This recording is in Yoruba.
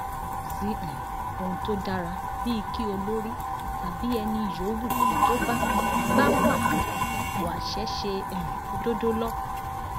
kò sí um ohun tó dára bíi kí olórí tàbí ẹni yòówù tó bá bá wà ní ipò àṣẹ ṣe um òdodo lọ